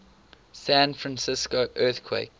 san francisco earthquake